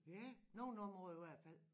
Ja nogen områder i hvert fald